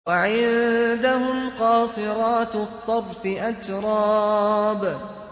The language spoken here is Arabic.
۞ وَعِندَهُمْ قَاصِرَاتُ الطَّرْفِ أَتْرَابٌ